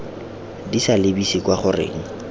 di sa lebise kwa goreng